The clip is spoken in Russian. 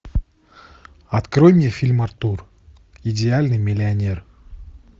открой мне фильм артур идеальный миллионер